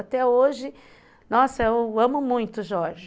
Até hoje, nossa, eu amo muito o Jorge.